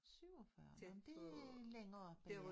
47 nå men det længere oppe ja